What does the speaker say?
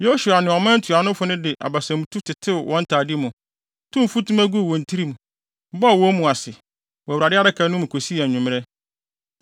Yosua ne ɔman ntuanofo no de abasamtu tetew wɔn ntade mu, tow mfutuma guu wɔn tirim, bɔɔ wɔn mu ase, wɔ Awurade Adaka no anim kosii anwummere.